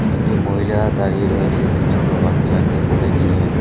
একটি মহিলা দাঁড়িয়ে রয়েছে একটি ছোটো বাচ্চাকে কোলে নিয়ে।